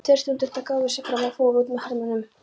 Tveir stúdentar gáfu sig fram og fóru út með hermönnunum.